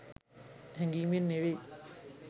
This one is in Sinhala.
හැඟීමෙන් නෙවෙයි.